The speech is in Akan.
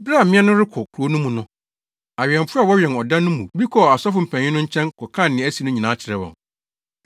Bere a mmea no rekɔ kurow no mu no, awɛmfo a wɔwɛn ɔda no mu bi kɔɔ asɔfo mpanyin no nkyɛn kɔkaa nea asi no nyinaa kyerɛɛ wɔn.